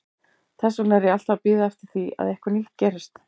Þess vegna er ég alltaf að bíða eftir því að eitthvað nýtt gerist.